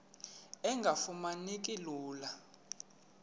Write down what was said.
engafuma neki lula